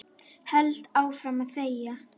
Held áfram að þegja.